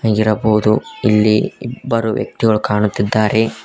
ಇರಬಹುದು ಇಲ್ಲಿ ಇಬ್ಬರು ವ್ಯಕ್ತಿಗಳು ಕಾಣುತ್ತಿದ್ದಾರೆ.